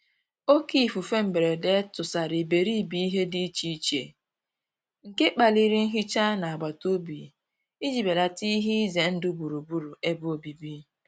Òkè ífúfé mbérédé túsàrá íbéríbé íhé dí íché íché, nké kpálirí nhíchá ná àgbátá òbí íjí bélátá íhé ízé ndụ́ gbúrú-gbúrú ébé òbíbí.